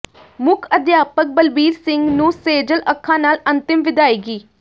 ਮੁੱਖ ਅਧਿਆਪਕ ਬਲਬੀਰ ਸਿੰਘ ਨੂੰ ਸੇਜਲ ਅੱਖਾਂ ਨਾਲ ਅੰਤਿਮ ਵਿਦਾਇਗੀ